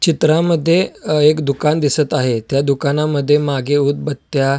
चित्रामद्धे अ एक दुकान दिसत आहे त्या दुकानामद्धे मागे उदबत्त्या --